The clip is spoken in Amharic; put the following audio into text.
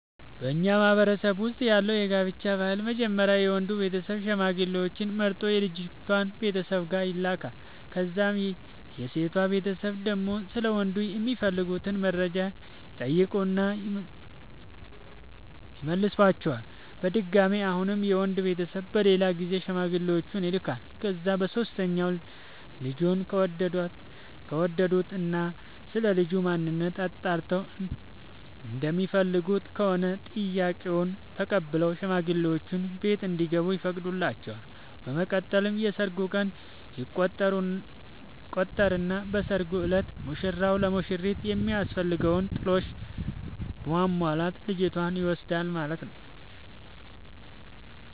በኛ ማህበረሰብ ውስጥ ያለው የጋብቻ ባህል መጀመሪያ የወንዱ ቤተሰብ ሽማግሌዎች መርጦ የልጅቷ ቤተሰብ ጋር ይልካል። ከዛም የሴቷ ቤተሰብ ደግሞ ስለ ወንዱ የሚፈልጉትን መረጃ ይጠይቁና ይመልሷቸዋል። በድጋሚ አሁንም የወንድ ቤተሰብ በሌላ ጊዜ ሽማግሌዎቹን ይልኳቸዋል። ከዛ በሶስተኛው ልጁን ከወደዱት እና ስለልጁ ማንነት አጣርተው እንደሚፈልጉት ከሆነ ጥያቄውን ተቀብለው ሽማግሌዎቹ ቤት እንዲገቡ ይፈቅዱላቸዋል። በመቀጠል የሰርግ ቀን ይቆርጡና በሰርጉ እለት ሙሽራው ለሙሽሪት የሚያስፈልገውን ጥሎሽ በማሟላት ልጅቷን ይወስዳል ማለት ነው።